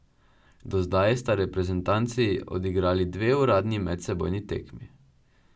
Do zdaj sta reprezentanci odigrali dve uradni medsebojni tekmi.